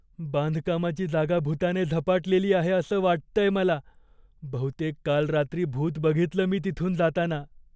बांधकामाची जागा भुताने झपाटलेली आहे असं वाटतंय मला. बहुतेक काल रात्री भूत बघितलं मी तिथून जाताना.